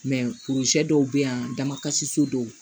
dɔw bɛ yan damakasi so dɔw